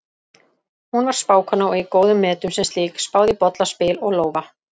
Hún var spákona og í góðum metum sem slík, spáði í bolla, spil og lófa.